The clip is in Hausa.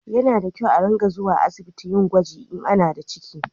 Ya na da kyau a ringa zuwa asibiti a yi gwaji in ana da ciki